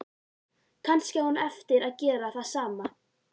Kannski á hún eftir að gera það.